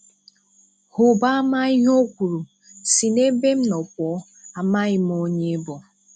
Hụba ama ihe o kwuru, "si n'ebe m nọ pụọ, amaghị m onye ị bụ."